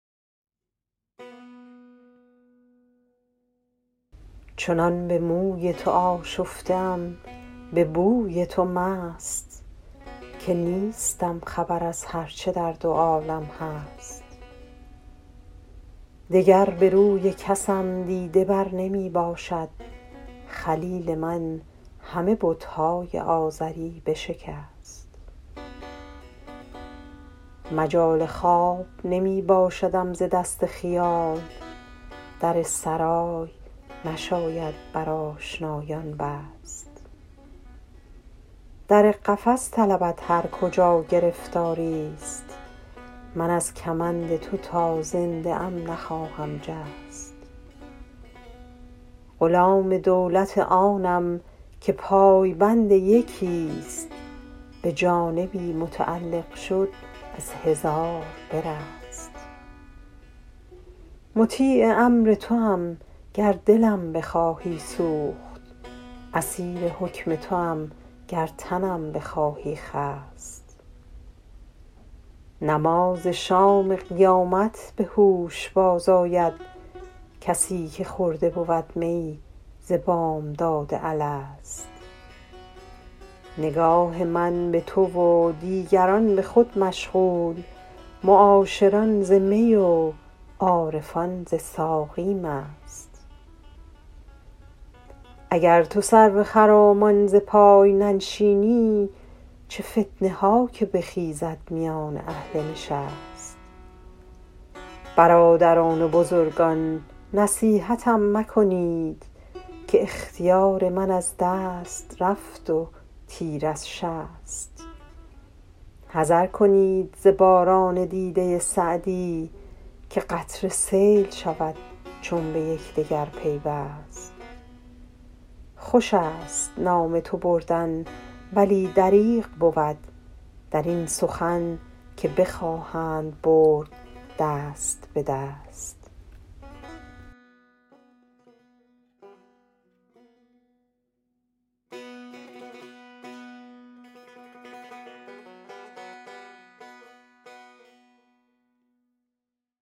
چنان به موی تو آشفته ام به بوی تو مست که نیستم خبر از هر چه در دو عالم هست دگر به روی کسم دیده بر نمی باشد خلیل من همه بت های آزری بشکست مجال خواب نمی باشدم ز دست خیال در سرای نشاید بر آشنایان بست در قفس طلبد هر کجا گرفتاری ست من از کمند تو تا زنده ام نخواهم جست غلام دولت آنم که پای بند یکی ست به جانبی متعلق شد از هزار برست مطیع امر توام گر دلم بخواهی سوخت اسیر حکم توام گر تنم بخواهی خست نماز شام قیامت به هوش باز آید کسی که خورده بود می ز بامداد الست نگاه من به تو و دیگران به خود مشغول معاشران ز می و عارفان ز ساقی مست اگر تو سرو خرامان ز پای ننشینی چه فتنه ها که بخیزد میان اهل نشست برادران و بزرگان نصیحتم مکنید که اختیار من از دست رفت و تیر از شست حذر کنید ز باران دیده سعدی که قطره سیل شود چون به یکدگر پیوست خوش است نام تو بردن ولی دریغ بود در این سخن که بخواهند برد دست به دست